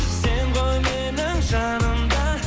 сен ғой менің жаным да